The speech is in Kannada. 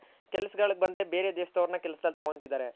ಕೆಲ್ಸ್ ಗಳಿಗ್ ಬಂದ್ರೆ ಬೇರೆ ದೇಶದವರನ್ನ ಕೆಲ್ಸ್ ಗಳಿಗ್ ತೊಗೊಳ್ತಿದ್ದರೆ.